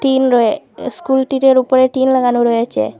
তিন রয়ে স্কুলটিটার ওপরে টিন লাগানো রয়েছে।